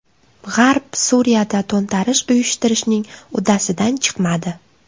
G‘arb Suriyada to‘ntarish uyushtirishning uddasidan chiqmadi.